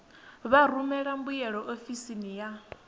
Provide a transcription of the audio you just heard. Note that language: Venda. vha rumele mbuyelo ofisini ya